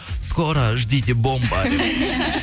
скоро ждите бомба деп